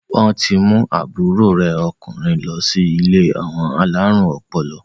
Wọn ti mú àbúrò rẹ̀ ọkùnrin lọ sí ilé àwọn alárùn ọpọlọ?